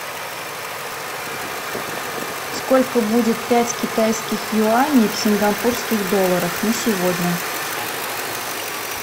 сколько будет пять китайских юаней в сингапурских долларах на сегодня